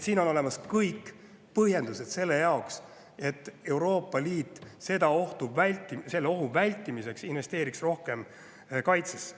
Nii et kõik põhjendused on olemas selleks, et Euroopa Liit selle ohu vältimiseks investeeriks rohkem kaitsesse.